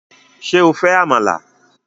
Ṣé o fẹ́ Àmàlà?